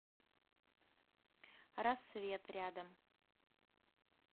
рассвет рядом